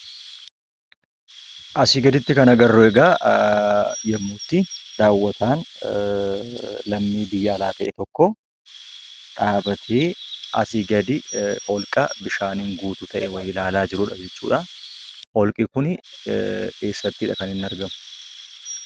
Asii gaditti kan agarru egaa yemmuutti daawwataan lammii biyya alaa ta'e tokkoo dhaabatee asii gadi holqa bishaaniin guutuu ta'e wayii ilaalaa jirudha jechuudha. Holqi kun eessattidha kan inni argamu?